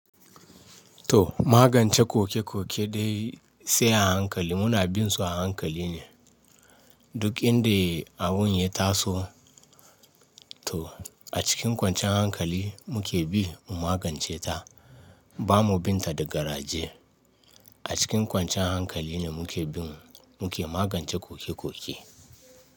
To magance kokekoke dai sai a hankali muna binsu a hankali ne. Duk inda abun ya taso to a cikin kwanciyan hankali muke bi mu magance ta. Ba mu bin ta da garaje. A cikin kwancan hankali ne muke bin muke magance kokekoke.